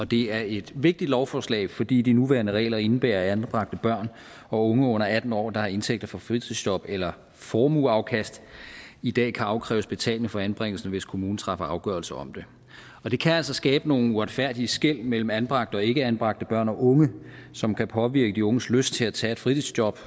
det er et vigtigt lovforslag fordi de nuværende regler indebærer at anbragte børn og unge under atten år der har indtægter fra fritidsjob eller formueafkast i dag kan afkræves betaling for anbringelsen hvis kommunen træffer afgørelser om det og det kan altså skabe nogle uretfærdige skel mellem anbragte og ikkeanbragte børn og unge som kan påvirke de unges lyst til at tage et fritidsjob